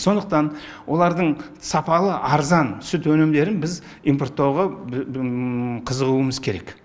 сондықтан олардың сапалы арзан сүт өнімдерін біз импорттауға қызығуымыз керек